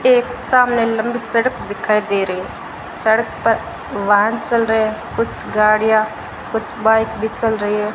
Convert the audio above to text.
एक सामने लंबी सड़क दिखाई दे रही है सड़क पर वाहन चल रहे कुछ गाड़ियां कुछ बाइक भी चल रही है।